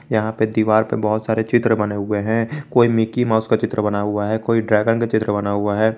यहां पे दीवार पे बहोत सारे चित्र बने हुए हैं कोई मिकी माउस का चित्र बना हुआ है कोई ड्रैगन का चित्र बना हुआ है।